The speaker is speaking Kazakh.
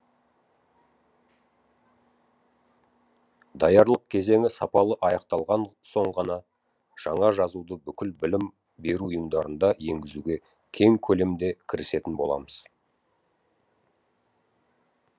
даярлық кезеңі сапалы аяқталған соң ғана жаңа жазуды бүкіл білім беру ұйымдарында енгізуге кең көлемде кірісетін боламыз